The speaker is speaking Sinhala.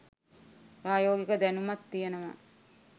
ප්‍රයෝගික දැනුමත් තියෙනවා